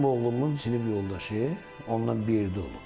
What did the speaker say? Mənim oğlumun sinif yoldaşı ondan bir yerdə olub.